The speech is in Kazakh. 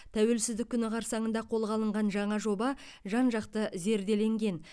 тәуелсіздік күні қарсаңында қолға алынған жаңа жоба жан жақты зерделенген